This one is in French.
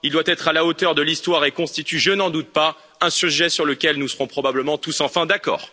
Il doit être à la hauteur de l'histoire et constitue, je n'en doute pas, un sujet sur lequel nous serons probablement tous enfin d'accord.